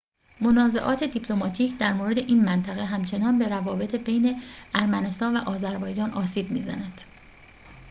منازعات دیپلماتیک در مورد این منطقه همچنان به روابط بین ارمنستان و آذربایجان آسیب می‌زند